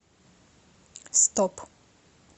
стоп